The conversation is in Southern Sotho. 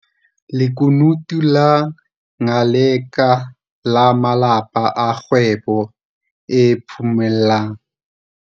Lekunutu la Ngaleka la malepa a kgwebo e phomellang.